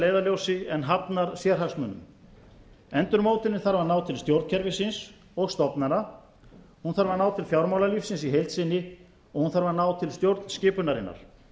leiðarljósi en hafnar sérhagsmunum endurmótunin þarf að ná til stjórnkerfisins og stofnana hún þarf að ná til fjármálalífsins í held sinni og hún þarf að ná til stjórnskipunarinnar